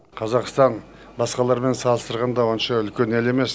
қазақстан басқалармен салыстырғанда онша үлкен ел емес